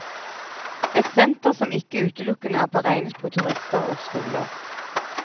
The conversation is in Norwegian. Et senter som ikke utelukkende er beregnet på turister og skoler.